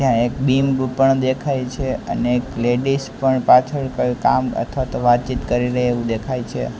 ત્યાં એક બિંબ પણ દેખાય છે અને એક લેડીસ પણ પાછળ કોઈ કામ અથવાતો વાતચીત કરી રઇ એવું દેખાય છે.